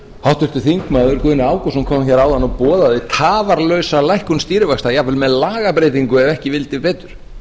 háttvirtur þingmaður guðni ágústsson kom hér áðan og boðaði tafarlausa lækkun stýrivaxta jafnvel með lagabreytingu ef ekki vildi betur